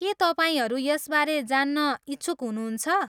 के तपाईँहरू यसबारे जान्न इच्छुक हुनुहुन्छ?